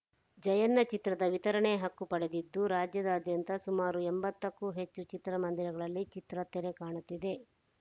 ಜಯಣ್ಣ ಚಿತ್ರದ ವಿತರಣೆ ಹಕ್ಕು ಪಡೆದಿದ್ದು ರಾಜ್ಯಾದ್ಯಂತ ಸುಮಾರು ಎಂಬತ್ತಕ್ಕೂ ಹೆಚ್ಚು ಚಿತ್ರಮಂದಿರಗಳಲ್ಲಿ ಚಿತ್ರ ತೆರೆ ಕಾಣುತ್ತಿದೆ